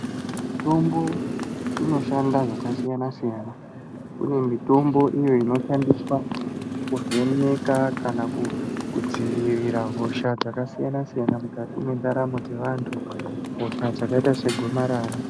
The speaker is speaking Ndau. Mitombo inoshanda zvakasiyana-siyana uye mitombo iyo inoshandiswa kuvheneka kana kudzivirira hosha dzakasiyana-siyana mukati mendaramo dzevantu , hosha dzakaita segomarara.